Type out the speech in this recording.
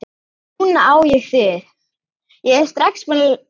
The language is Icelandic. Núna á ég þig.